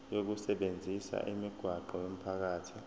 lokusebenzisa imigwaqo yomphakathi